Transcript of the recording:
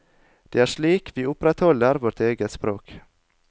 Det er slik vi opprettholder vårt eget språk.